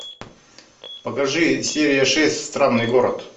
покажи серия шесть странный город